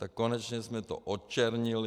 Tak konečně jsme to odčernili.